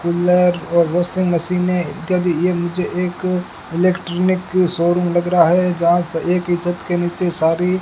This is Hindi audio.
कूलर और वाशिंग मशीनें इत्यादि ये मुझे एक इलेक्ट्रॉनिक की शोरूम लग रहा है जहां से एक ही छत के नीचे सारी --